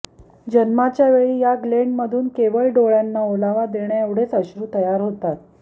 जन्माच्या वेळी या ग्लेन्ड मधून केवळ डोळ्यांना ओलावा देण्या एवढेच अश्रू तयार होतात